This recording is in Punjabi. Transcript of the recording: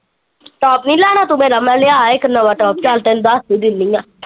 ਟੋਪ ਨੀ ਲੇਣਾ ਤੂ ਮੇਰਾ ਮੈ ਲਇਆ ਇਕ ਨਾਵਾ ਟੋਪ ਚਲ ਤੈਨੂੰ ਦੱਸ ਹੀ ਦਿੰਨੀ ਆ।